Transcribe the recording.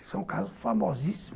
Isso é um caso famosíssimo.